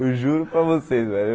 Eu juro para vocês, velho.